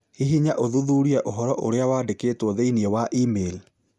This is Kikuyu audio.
Hihinya ũthuthurie ũhoro ũrĩa wandĩkĩtwo thĩinĩ wa e-mail.